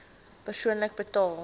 persoonlik betaal